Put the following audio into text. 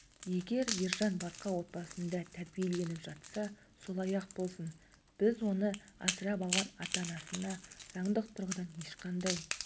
егер ержан басқа отбасында тәрбиеленіп жатса солай-ақ болсын біз оны асырап алған ата-анасына заңдық тұрғыдан ешқандай